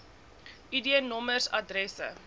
id nommers adresse